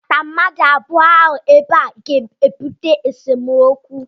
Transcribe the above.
ịkpọbata mmadụ abụọ ahụ ebe a ga-ebute esemokwu